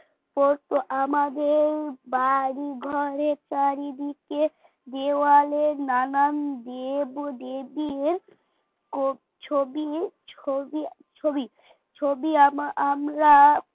তোর তো আমাদের বাড়ি ঘরের চারিদিকে দেয়ালে নানান দেব দেবীর ছবি ছবি ছবি ছবি আম আমরা